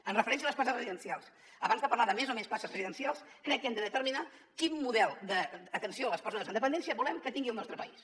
amb referència a les places residencials abans de parlar de més o menys places residencials crec que hem de determinar quin model d’atenció a les persones amb dependència volem que tingui el nostre país